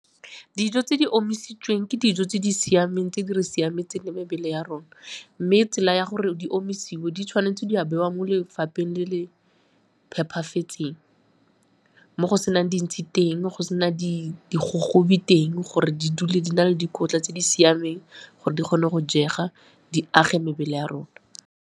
Dijo tse di omisitsweng ke dijo tse di siameng, tse di re siametseng mebele ya rona mme tsela ya gore di omisiwe di tshwanetse di a bewa mo lefapheng le le phepafetseng mo go senang dintshi teng, mo go sena di digogobi teng gore di dule di na le dikotla tse di siameng gore di kgone go jega di age mebele ya rona.